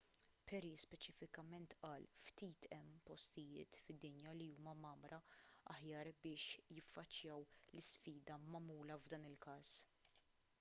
perry speċifikament qal ftit hemm postijiet fid-dinja li huma mgħammra aħjar biex jiffaċċjaw l-isfida magħmula f'dan il-każ